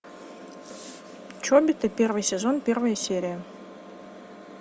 чобиты первый сезон первая серия